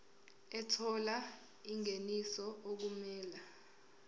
ethola ingeniso okumele